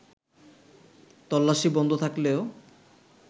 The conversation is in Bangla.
তল্লাশি বন্ধ থাকলেও